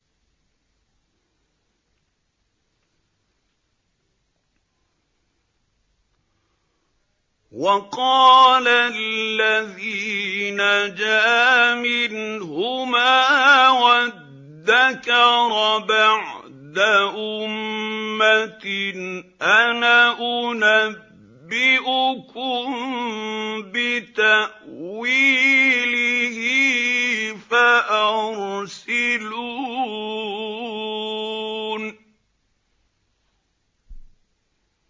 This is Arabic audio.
وَقَالَ الَّذِي نَجَا مِنْهُمَا وَادَّكَرَ بَعْدَ أُمَّةٍ أَنَا أُنَبِّئُكُم بِتَأْوِيلِهِ فَأَرْسِلُونِ